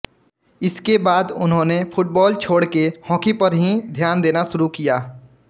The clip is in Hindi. इसके बाद उन्होंने फुटबाल छोड़ के हॉकी पर ही ध्यान देना शुरू किया